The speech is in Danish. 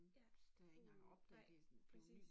Ja, uh, nej præcis